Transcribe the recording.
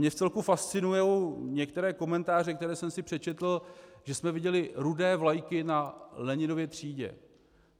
Mě vcelku fascinují některé komentáře, které jsem si přečetl, že jsme viděli rudé vlajky na Leninově třídě.